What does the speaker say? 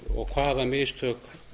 og hvaða mistök